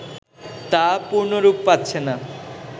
তা পূর্ণরূপ পাচ্ছেনা